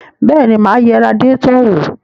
Bẹ́ẹ̀ni, mà á yẹ radiétọ̀ wò.